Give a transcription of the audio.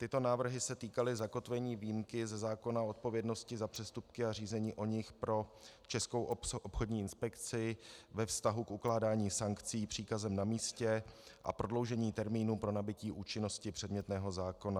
Tyto návrhy se týkaly zakotvení výjimky ze zákona o odpovědnosti za přestupky a řízení o nich pro Českou obchodní inspekci ve vztahu k ukládání sankcí příkazem na místě a prodloužení termínu pro nabytí účinnosti předmětného zákona.